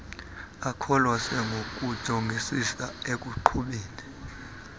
akholose ngokujongisisa ekuqhubeni